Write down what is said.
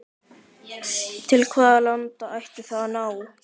Til hvaða landa ætti það að ná?